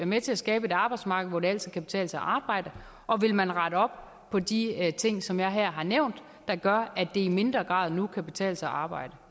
med til at skabe et arbejdsmarked hvor det altid kan betale sig at arbejde og vil man rette op på de ting som jeg her har nævnt der gør at det i mindre grad nu kan betale sig at arbejde